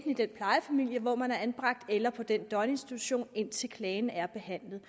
i den plejefamilie hvor man er anbragt eller på den døgninstitution indtil klagen er behandlet